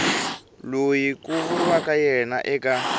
loyi ku vuriwaka yena eka